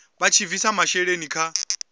vha tshi bvisa masheleni kha